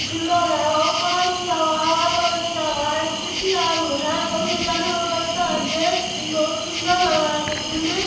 Pillar है और colour किया हुआ हरा कलर किया हुआ है खिड़की आरू है और ये जाने वाला रास्ता है गेट बहुत सुंदर लग रहा है देखने में।